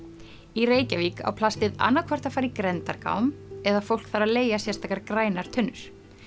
í Reykjavík á plastið annaðhvort að fara í grenndargám eða fólk þarf að leigja sérstakar grænar tunnur